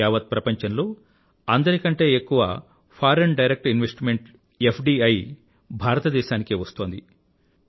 యావత్ప్రపంచం లో అందరికంటే ఎక్కువ ఫోరియన్ డైరెక్ట్ ఇన్వెస్ట్మెంట్ ఎఫ్డీఐ భారతదేశానికే వస్తోంది